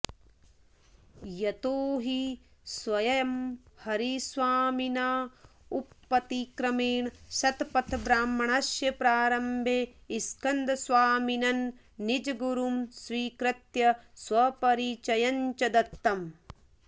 यतो हि स्वयं हरिस्वामिना उपपत्तिक्रमेण शतपथब्राह्मणस्य प्रारम्भे स्कन्दस्वामिनं निजगुरुं स्वीकृत्य स्वपरिचयञ्च दत्तम्